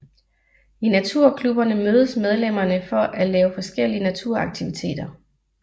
I naturklubberne mødes medlemmerne for at lave forskellige naturaktiviteter